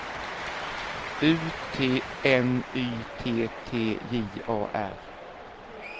U T N Y T T J A R